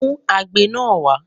Mú agbe náà wà